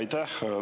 Aitäh!